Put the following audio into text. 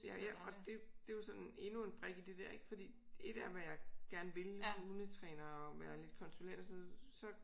Ja ja og det det er jo sådan endnu en brik i det dér ik fordi et er hvad jeg gerne vil hundetræner og være lidt konsulent og sådan noget så